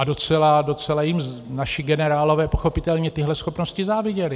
A docela jim naši generálové pochopitelně tyto schopnosti záviděli.